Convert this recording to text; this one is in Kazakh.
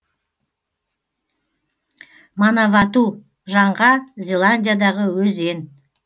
манавату жаңға зеландиядағы өзен